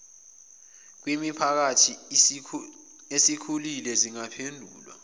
kwimiphakathi esikhulile zingaphendulwa